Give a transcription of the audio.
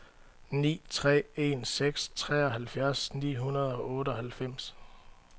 ni tre en seks treoghalvfjerds ni hundrede og otteoghalvfems